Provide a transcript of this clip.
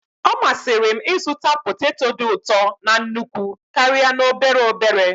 Ọ masịrị m ịzụta poteto dị ụtọ na nnukwu karịa n'obere obere.